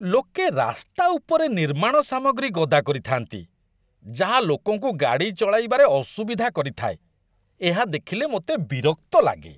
ଲୋକେ ରାସ୍ତା ଉପରେ ନିର୍ମାଣ ସାମଗ୍ରୀ ଗଦା କରିଥାନ୍ତି, ଯାହା ଲୋକଙ୍କୁ ଗାଡ଼ି ଚଳାଇବାରେ ଅସୁବିଧା କରିଥାଏ ଏହା ଦେଖିଲେ ମୋତେ ବିରକ୍ତ ଲାଗେ।